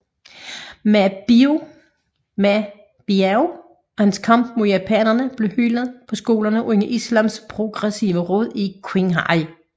Ma Biao og hans kamp mod japanerne blev hyldet på skolerne under Islams Progressive Råd i Qinghai